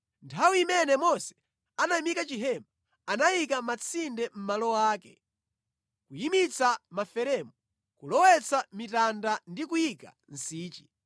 Nthawi imene Mose anayimika chihema, anayika matsinde mʼmalo ake, kuyimitsa maferemu, kulowetsa mitanda ndi kuyika nsichi.